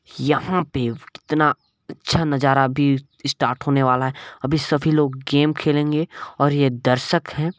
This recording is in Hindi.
यहाँ पे कितना अच्छा नज़ारा अभी स्टार्ट होने वाला है अभी सब लोग गेम खेलेंगे और ये दर्शक हैं।